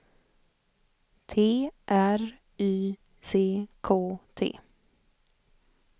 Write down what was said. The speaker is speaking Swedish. T R Y C K T